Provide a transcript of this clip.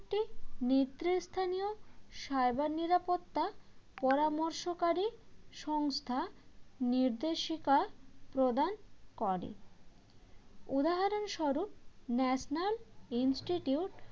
নেতৃস্থানীয় cyber নিরাপত্তা পরামর্শকারী সংস্থা নির্দেশিকার প্রদান করে উদাহরণস্বরূপ national institute